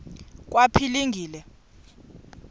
kwaphilingile